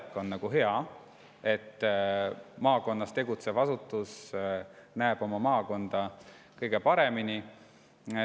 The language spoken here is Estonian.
Ühtpidi on lähedal olek hea, maakonnas tegutsev asutus näeb oma maakonda kõige paremini.